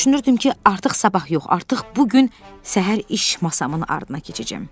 Düşünürdüm ki, artıq sabah yox, artıq bu gün səhər iş masamın ardına keçəcəm.